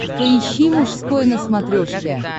поищи мужской на смотрешке